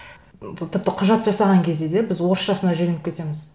тіпті құжат жасаған кезде де біз орысшасына жөнеліп кетеміз